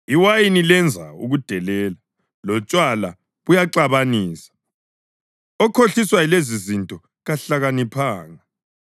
Iwayini lenza ukudelela lotshwala buyaxabanisa, okhohliswa yilezi izinto kahlakaniphanga.